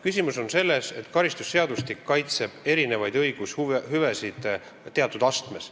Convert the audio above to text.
Küsimus on selles, et karistusseadustik kaitseb erinevaid õigushüvesid teatud astmes.